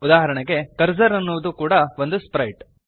ಉದಾಹರಣೆಗೆ ಕರ್ಸರ್ ಅನ್ನುವುದು ಒಂದು ಸ್ಪ್ರೈಟ್